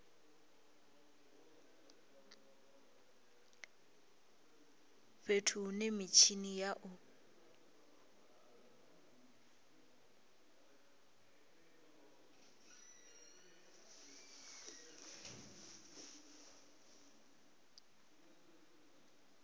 fhethu hune mitshini ya u